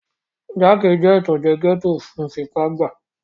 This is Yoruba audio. Jáàkì jẹ́ ìtànjẹ́ gẹ́ẹ́tò fún fipá gbàá